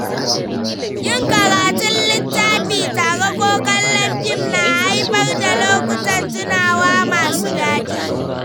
Yin karatun littafi tare ko kallon fim na haifar da lokutan tunawa masu daɗi.